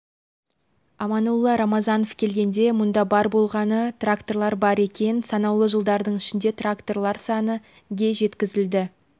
аманолла рамазанов келгенде мұнда бар болғаны трактор бар екен санаулы жылдардың ішінде тракторлар саны ге жеткізілді